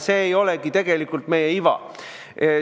See ei olegi tegelikult meie iva.